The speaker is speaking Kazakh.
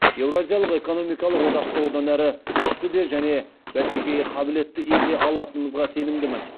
еуразиялық экономикалық одақты одан әрі күшті де және бәсекеге қабілетті ете алатынымызға сенімдімін